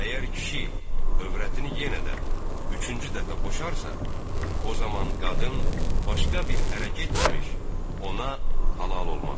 Əgər kişi övrətini yenə də üçüncü dəfə boşarsa, o zaman qadın başqa bir ərə getməmiş, ona halal olmaz.